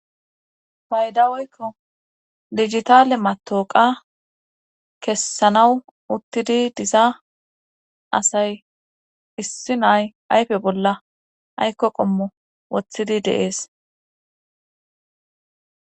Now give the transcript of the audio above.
Paydawoykko digitale matoqa kessanawu uttidi disa asay issi nay ayfe bolla aykko qommo wothidi deees.